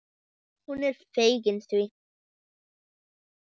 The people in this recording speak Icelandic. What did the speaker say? Hún er fegin því.